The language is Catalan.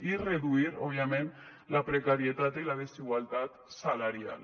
i reduir òbviament la precarietat i la desigualtat salarial